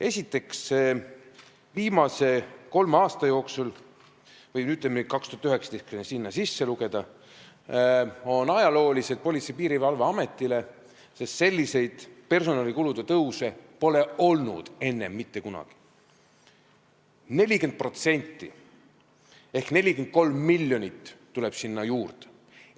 Esiteks, viimased kolm aastat, kui ka 2019 sinna sisse lugeda, on Politsei- ja Piirivalveametile ajaloolised, sest sellist personalikulude tõusu pole enne mitte kunagi olnud: 40% ehk 43 miljonit tuleb juurde.